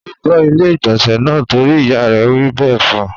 Ó fọ ilé-ìgbọ̀nsẹ̀ náà torí ìyá rẹ̀ wí bẹ́ẹ̀ fún.